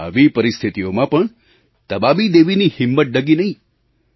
આવી પરિસ્થિતિઓમાં પણ તબાબી દેવીની હિંમત ડગી નહીં